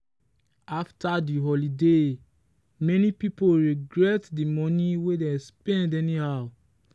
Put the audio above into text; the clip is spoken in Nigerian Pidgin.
after the holiday many people regret the money wey dem spend anyhow.